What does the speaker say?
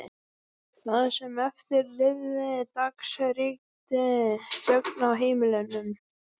Það sem eftir lifði dags ríkti þögn á heimilinu.